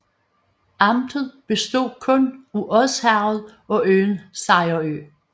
Amtet bestod kun af Odsherred og øen Sejerø